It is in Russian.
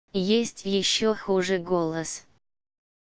есть ещё хуже голос